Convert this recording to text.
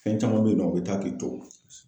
Fɛn caman bɛ yen nɔ, u bɛ taa k'i to.